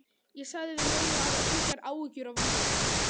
Ég sagði við mömmu að hafa engar áhyggjur af mér.